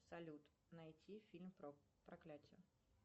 салют найти фильм про проклятие